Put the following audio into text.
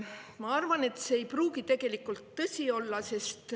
Ma arvan, et see ei pruugi tõsi olla.